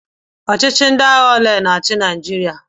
Ọchịchị ndị agha ole na-achị Naịjirịa?